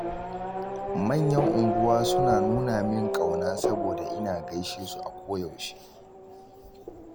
Manyan unguwa suna nuna min ƙauna, saboda ina gaishe su a koyaushe.